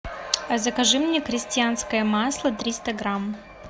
закажи мне крестьянское масло триста грамм